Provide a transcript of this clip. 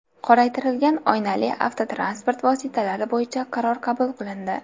Qoraytirilgan oynali avtotransport vositalari bo‘yicha qaror qabul qilindi.